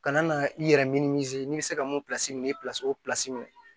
Ka na i yɛrɛ n'i bɛ se ka mun min ye o minɛ